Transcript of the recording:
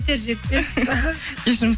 жетер жетпес іхі